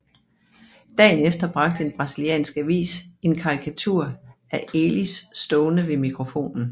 Dagen efter bragte en brasiliansk avis en karikatur af Elis stående ved mikrofonen